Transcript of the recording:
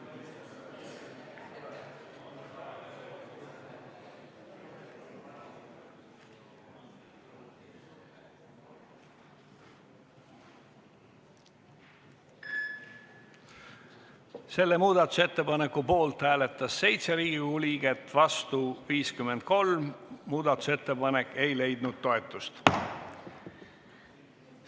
Hääletustulemused Selle muudatusettepaneku poolt hääletas 7 Riigikogu liiget, vastu 53, muudatusettepanek ei leidnud toetust.